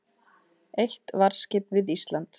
Eitt varðskip við Ísland